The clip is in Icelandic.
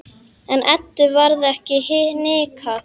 En Eddu varð ekki hnikað.